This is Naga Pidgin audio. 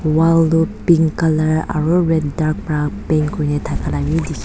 wall toh pink colour aro red dark pra paint kurina thaka la bi dikhi.